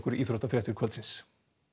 íþróttafréttir kvöldsins